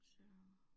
Så